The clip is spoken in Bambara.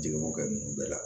Jeli b'o kɛ ninnu bɛɛ la